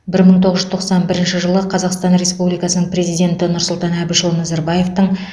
бір мың тоғыз жүз тоқсан бірінші жылы қазақстан республикасының президенті нұрсұтан әбішұлы назарбаевтың